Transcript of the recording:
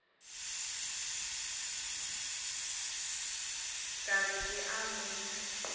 ka re ke a motho